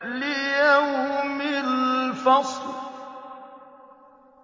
لِيَوْمِ الْفَصْلِ